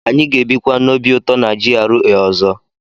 Anyị ga-ebikwa n'obi ụtọ na GRA ọzọ.